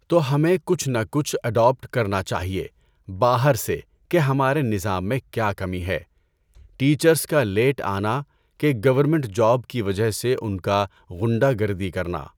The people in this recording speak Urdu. تو ہمیں کچھ نہ کچھ اڈاپٹ کرنا چاہئے باہر سے کہ ہمارے نظام میں کیا کمی ہے، ٹیچرس کا لیٹ آنا کہ گورمنٹ جاب کی وجہ سے ان کا غنڈہ گردی کرنا۔